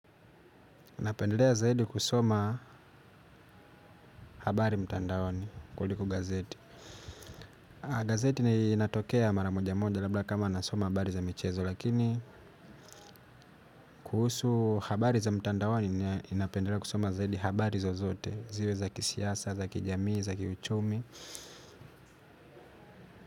Napendelea zaidi kusoma habari mtandaoni kuli kogazeti. Gazeti ni linatokea maramoja moja labla kama nasoma habari za michezo lakini kuhusu habari za mtandaoni ni inapendelea kusoma zaidi habari zozote ziwe za kisiasa, za kijamii, za kichumi.